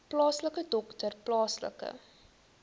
plaaslike dokter plaaslike